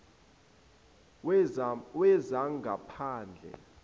wezangaphandle